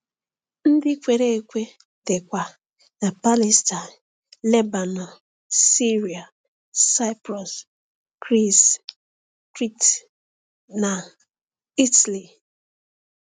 Ndị kwere ekwe dịkwa na Palestine, Lebanọn, Siria, Saịprọs, Gris, Krit, na Ịtali.